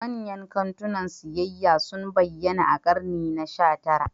Manyan kantunan siyayya sun bayyana a ƙarni na sha tara.